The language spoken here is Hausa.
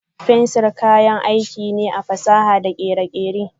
Fensir kayan aiki ne a fasaha da kere-kere.